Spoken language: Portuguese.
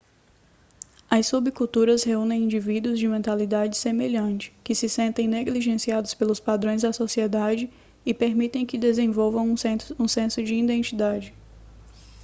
as subculturas reúnem indivíduos de mentalidade semelhante que se sentem negligenciados pelos padrões da sociedade e permitem que desenvolvam um senso de identidade